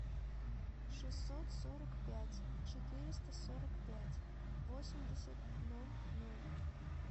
шестьсот сорок пять четыреста сорок пять восемьдесят ноль ноль